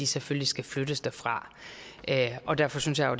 selvfølgelig skal flyttes derfra derfor synes jeg jo